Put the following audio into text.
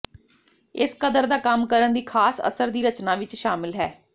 ਇਸ ਕਦਰ ਦਾ ਕੰਮ ਕਰਨ ਦੀ ਖਾਸ ਅਸਰ ਦੀ ਰਚਨਾ ਵਿਚ ਸ਼ਾਮਲ ਹੈ